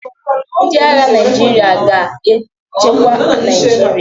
Ndị agha Naịjirịa ga na-echekwa Naịjirịa.